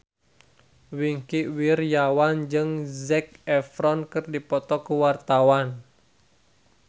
Wingky Wiryawan jeung Zac Efron keur dipoto ku wartawan